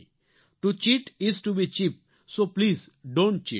to cheat is to be cheap so please don't cheat